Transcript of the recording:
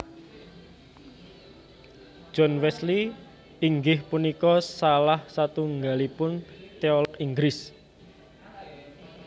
John Wesley inggih punika salah satunggalipun teolog Inggris